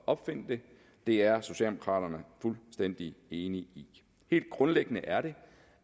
opfinde det det er socialdemokraterne fuldstændig enige i helt grundlæggende er det